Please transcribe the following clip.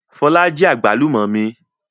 Fọlá jí àgbálù ọ́ mi.